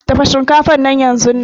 Dafa shinkafan nan yanzunnan.